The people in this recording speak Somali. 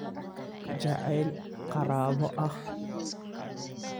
Jacayl qaraabo ah.